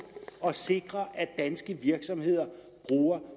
at sikre at danske virksomheder bruger